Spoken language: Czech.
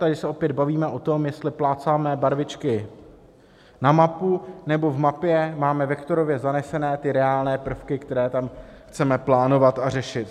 Tady se opět bavíme o tom, jestli plácáme barvičky na mapu, nebo v mapě máme vektorově zanesené ty reálné prvky, které tam chceme plánovat a řešit.